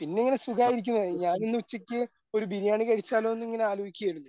പിന്നിങ്ങനെ സുഖയിരിക്കുന്നു ഞാനിന്ന് ഉച്ചയ്ക്ക് ഒരു ബിരിയാണി കഴിച്ചാലോ എന്നിങ്ങനെ ആലോചിക്കുകയായിരുന്നു.